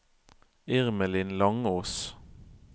Irmelin Langås